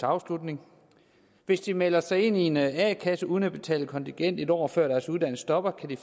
afslutning hvis de melder sig ind i en a kasse uden at betale kontingent en år før deres uddannelse stopper kan de